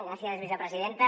gràcies vicepresidenta